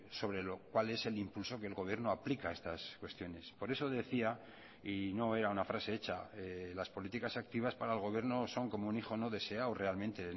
sobre lo cual es el impulso que el gobierno aplica a estas cuestiones por eso decía y no era una frase hecha las políticas activas para el gobierno son como un hijo no deseado realmente